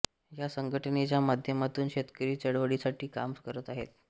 या संघटनेच्या माध्यमातून शेतकरी चळवळीसाठी काम करत आहेत